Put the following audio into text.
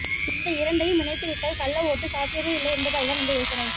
இந்த இரண்டையும் இணைத்துவிட்டால் கள்ள ஓட்டு சாத்தியமே இல்லை என்பதால் தான் இந்த யோசனை